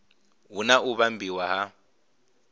hu na u vhumbiwa ha